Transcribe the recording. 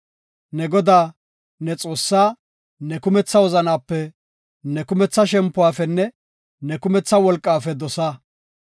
Ne Godaa, ne Xoossaa ne kumetha wozanaape, ne kumetha shempuwafenne ne kumetha wolqaafe dosa.